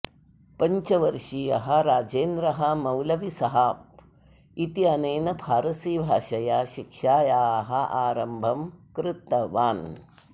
पञ्चवर्षीयः राजेन्द्रः मौलवी सहाब इत्यनेन फारसीभाषया शिक्षायाः आरम्भं कृतवान्